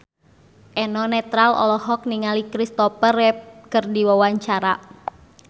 Eno Netral olohok ningali Christopher Reeve keur diwawancara